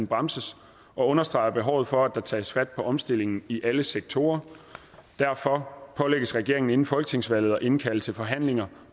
bremses og understreger behovet for at der tages fat på omstillingen i alle sektorer derfor pålægges regeringen inden folketingsvalget at indkalde til forhandlinger